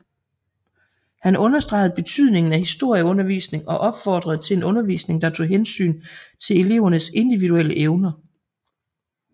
Han understregede betydningen af historieundervisning og opfordrede til en undervisning der tog hensyn til elevernes individuelle evner